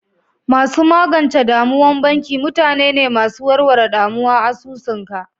Masu magance damuwan banki mutane ne masu warware ɗamuwa asusu ka.